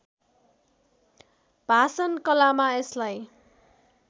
भाषण कलामा यसलाई